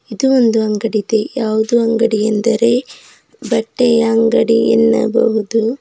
ಇದು ಒಂದು ಅಂಗಡಿ ಇದೆ ಯಾವುದು ಅಂಗಡಿ ಎಂದರೆ ಬಟ್ಟೆಯ ಅಂಗಡಿ ಎನ್ನಬಹುದು.